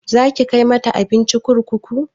Zaki kai mata abinci kurkuku?